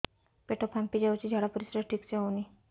ପେଟ ଫାମ୍ପି ଯାଉଛି ଝାଡ଼ା ପରିସ୍ରା ଠିକ ସେ ହଉନି